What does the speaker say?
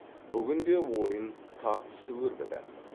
бүгін де ойын тартысты өрбіді